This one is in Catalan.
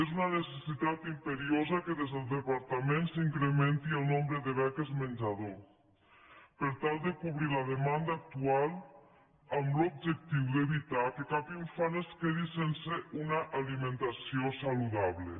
és una necessitat imperiosa que des del departament s’incrementi el nombre de beques menjador per tal de cobrir la demanda actual amb l’objectiu d’evitar que cap infant es quedi sense una alimentació saludable